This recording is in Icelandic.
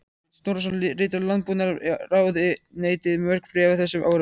Sveinn Snorrason ritaði Landbúnaðarráðuneytinu mörg bréf á þessum árum.